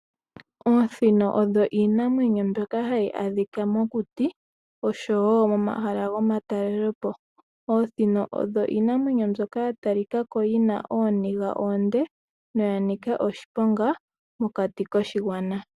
Oosino odho iinamwenyo mbyoka hayi adhika mokuti, oshowo momahala gomatalelepo. Oosino odho iinamwenyo mbyoka ya talika ko yi na ooniga oonde noya nika oshiponga mokati koshigwana.